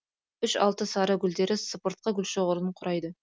үш алты сары гүлдері сыпыртқы гүлшоғырын құрайды